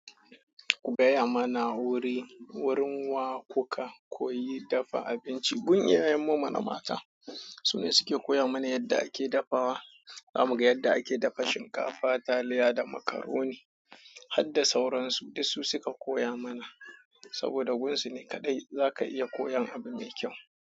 Gaya mana wuri, wurin wa kuka koyi dafa abinci. Gun iyayen mu mana mata, su ne suke koya mana yadda ake dafawa. Za mu ga yadda ake dafa shinkafa, taliya da macaroni. Har da sauransu, duk su suka koya mana. Saboda gunsu ne kaɗai zaka iya koyan abu mai kyau.